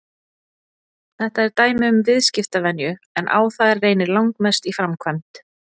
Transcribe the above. Þetta er dæmi um viðskiptavenju en á þær reynir langmest í framkvæmd.